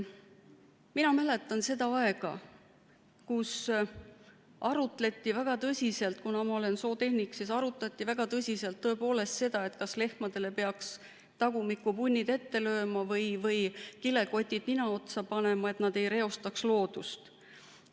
Mina mäletan seda aega, kui arutleti väga tõsiselt , kas lehmadele peaks tagumikku punni ette lööma või kilekoti nina otsa panema, et nad ei reostaks loodust.